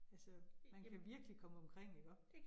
Altså man kan virkelig komme omkring iggå